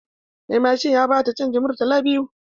Mai mashin ya ba ta canjin murtala biyu.